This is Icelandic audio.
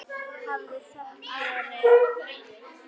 Hafðu þökk fyrir.